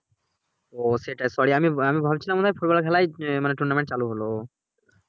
ও সেটাই করে আমি আমি ভাবছিলাম football খেলায় tournament চালু হলো